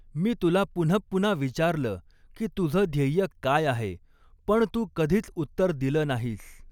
मी तुला पुनःपुन्हा विचारलं की तुझं ध्येय काय आहे, पण तू कधीच उत्तर दिलं नाहीस.